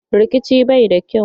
Rikici bai da kyau.